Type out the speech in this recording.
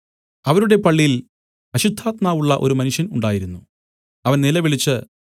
അവരുടെ പള്ളിയിൽ അശുദ്ധാത്മാവുള്ള ഒരു മനുഷ്യൻ ഉണ്ടായിരുന്നു അവൻ നിലവിളിച്ച്